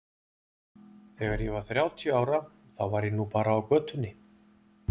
Þegar ég var þrjátíu ára þá var ég nú bara á götunni.